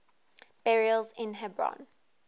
burials in hebron